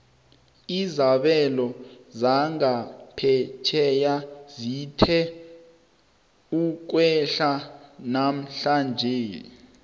izabelo zangaphetjheya zithe ukwehla namhlanje